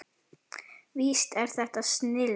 Víst er þetta snilld.